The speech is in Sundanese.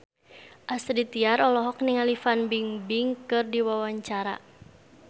Astrid Tiar olohok ningali Fan Bingbing keur diwawancara